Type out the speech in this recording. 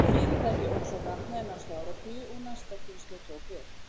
Fyrirtækið óx og dafnaði næstu áratugi og næsta kynslóð tók við.